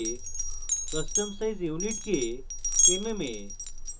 custom size units mm A